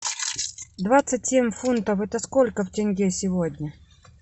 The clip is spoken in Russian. двадцать семь фунтов это сколько в тенге сегодня